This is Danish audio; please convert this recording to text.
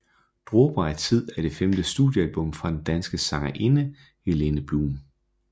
Dråber af Tid er det femte studiealbum fra den danske sangerinde Helene Blum